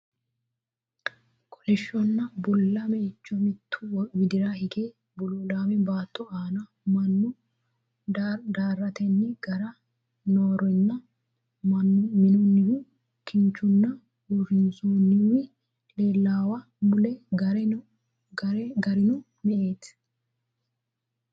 Kolishshonna bulla meicho mittu widira hige bululaame baatto aana minu darateenni gare noorinna minunnihu kinchunni usurrooniwi leellaawa mule garino me"eti.